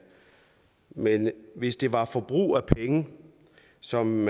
men hvis det var forbrug af penge som